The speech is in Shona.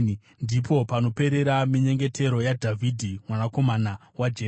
Ndipo panoperera minyengetero yaDhavhidhi, mwanakomana waJese.